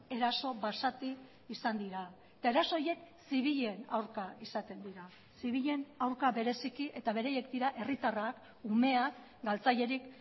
eraso basati izan dira eta eraso horiek zibilen aurka izaten dira zibilen aurka bereziki eta beraiek dira herritarrak umeak galtzailerik